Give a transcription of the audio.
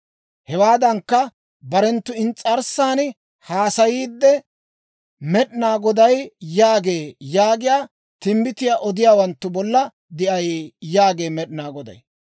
Hewaadankka, barenttu ins's'arssan haasayiidde, Med'inaa Goday yaagee yaagiyaa timbbitiyaa odiyaawanttu bolla de'ay yaagee Med'inaa Goday.